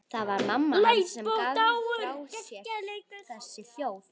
Það var mamma hans sem gaf frá sér þessi hljóð.